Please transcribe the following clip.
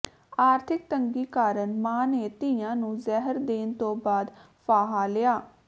ਆਰਥਿਕ ਤੰਗੀ ਕਾਰਨ ਮਾਂ ਨੇ ਧੀਆਂ ਨੂੰ ਜ਼ਹਿਰ ਦੇਣ ਤੋਂ ਬਾਅਦ ਫਾਹਾ ਲਿਆ